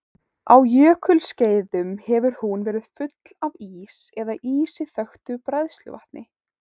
Á jökulskeiðum hefur hún verið full af ís eða ísi þöktu bræðsluvatni.